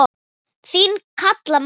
Þín Kalla María.